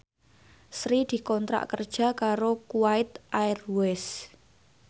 Sri dikontrak kerja karo Kuwait Airways